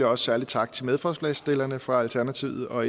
også særlig tak til medforslagsstillerne fra alternativet og